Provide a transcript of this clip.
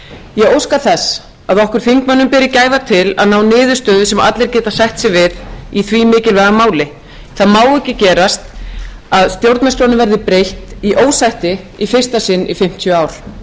ég óska þess að okkur þingmönnum beri gæfa til að ná niðurstöðu sem allir geta sætt sig við í því mikilvæga máli það má ekki gerast að stjórnarskránni verði breytt í ósætti í fyrsta sinn í fimmtíu ár